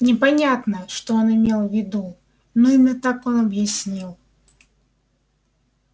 непонятно что он имел в виду но именно так он объяснил